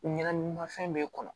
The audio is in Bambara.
Ɲagamimafɛn b'e kɔnɔ